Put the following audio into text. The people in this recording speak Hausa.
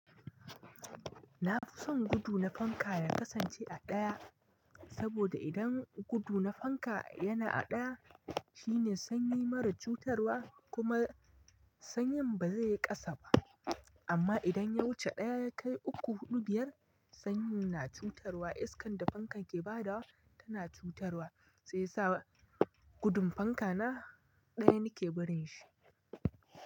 Na fi son gudu na fanka ya kasance a ɗaya, saboda idan gudu na fanka yana a ɗaya shine sanyi marar cutarwa kuma sanyin ba zai yi ƙasa ba. Amma idan ya wuce ɗaya ya kai uku, huɗu, biyar sanyin na cutarwa, iskan da fankan ke ba da tana cutarwa shi yasa gudun fanka na ɗaya nike barin shi.